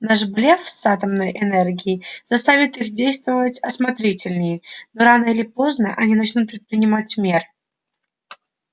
наш блеф с атомной энергией заставит их действовать осмотрительнее но рано или поздно они начнут предпринимать мер